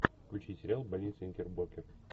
включи сериал больница никербокер